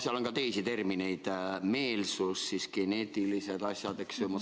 Seal on ka teisi termineid, näiteks meelsuse ja geneetiliste asjadega seonduvaid.